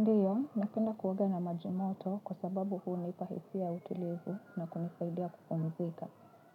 Ndiyo, napenda kuoga na majimoto kwa sababu hunipa hisia utulivu na kunisaidia kupumzika.